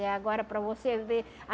É, agora para você ver.